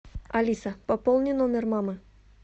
алиса пополни номер мамы